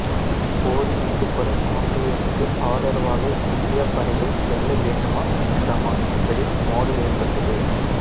போரில் ஈடுபடும் ஆங்கிலேயருக்கு ஆதரவாக இந்தியப் படைகள் செல்ல வேண்டுமா வேண்டாமா என்பதில் மோதல் ஏற்பட்டது